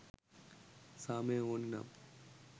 සාමය ඕන නම්